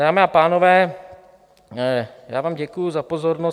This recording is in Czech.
Dámy a pánové, já vám děkuji za pozornost.